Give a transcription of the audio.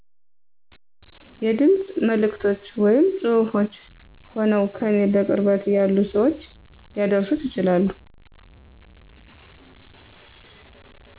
የድምፅ መልዕክቶች ወይም ፅሁፍች ሆነዉ ከኔ በቅርበት ያሉ ሰዎች ሊያደርሱት ይችላሉ